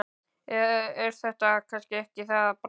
Eða er þetta kannski ekki það bros?